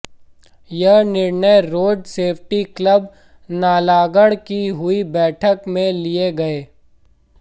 यह निर्णय road safety club Nalagarh की हुई बैठक में लिए गए